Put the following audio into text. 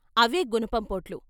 అవే గునపంపోట్లు.